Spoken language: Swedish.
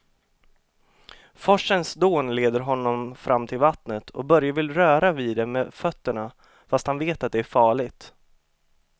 Forsens dån leder honom fram till vattnet och Börje vill röra vid det med fötterna, fast han vet att det är farligt.